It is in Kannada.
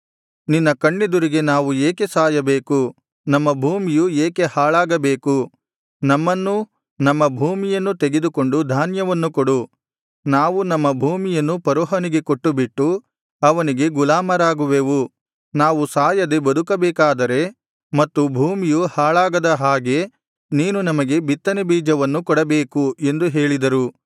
ನಿನ್ನ ಕಣ್ಣೆದುರಿಗೆ ನಾವು ಏಕೆ ಸಾಯಬೇಕು ನಮ್ಮ ಭೂಮಿಯು ಏಕೆ ಹಾಳಾಗಬೇಕು ನಮ್ಮನ್ನೂ ನಮ್ಮ ಭೂಮಿಯನ್ನೂ ತೆಗೆದುಕೊಂಡು ಧಾನ್ಯವನ್ನು ಕೊಡು ನಾವು ನಮ್ಮ ಭೂಮಿಯನ್ನು ಫರೋಹನಿಗೆ ಕೊಟ್ಟುಬಿಟ್ಟು ಅವನಿಗೆ ಗುಲಾಮರಾಗುವೆವು ನಾವು ಸಾಯದೆ ಬದುಕಬೇಕಾದರೆ ಮತ್ತು ಭೂಮಿಯು ಹಾಳಾಗದ ಹಾಗೆ ನೀನು ನಮಗೆ ಬಿತ್ತನೆ ಬೀಜವನ್ನು ಕೊಡಬೇಕು ಎಂದು ಹೇಳಿದರು